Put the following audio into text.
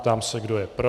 Ptám se, kdo je pro.